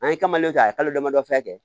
An ye k'a ye kalo damadɔ fɛn kɛ